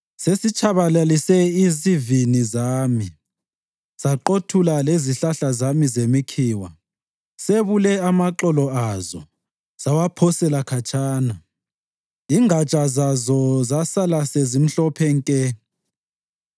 Sesitshabalalise izivini zami, saqothula lezihlahla zami zemikhiwa. Sebule amaxolo azo sawaphosela khatshana, ingatsha zazo zasala sezimhlophe nke.